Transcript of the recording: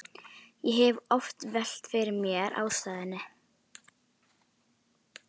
Ég hef oft velt fyrir mér ástæðunni.